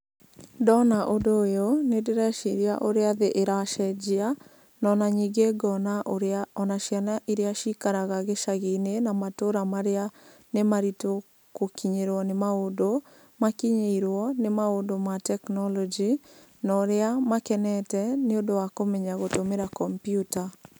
Ndona ũndũ ũyũ nĩ ndĩreciria ũrĩa thĩ ĩracenjia na o na ningĩ ngona o na ũrĩa ciana irĩa cikaraga gicagi-inĩ na matũũra marĩa nĩ maritũ gũkinyĩrwo nĩ maũndũ, makinyĩirwo nĩ maũndũ ma tekinoronjĩ, na ũrĩa makenete nĩ ũndũ wa kũmenya gũtũmĩra kompiuta.